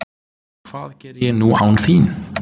Hvað geri ég nú án þín?